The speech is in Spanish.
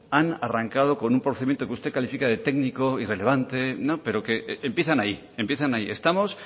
han arrancado con un procedimiento que usted califica de técnico irrelevante pero que empiezan ahí empiezan ahí estamos